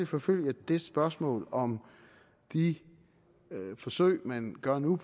forfølge det spørgsmål om de forsøg man gør nu